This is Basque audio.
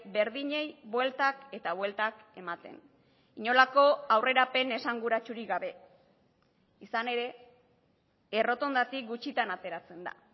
berdinei bueltak eta bueltak ematen inolako aurrerapen esanguratsurik gabe izan ere errotondatik gutxitan ateratzen da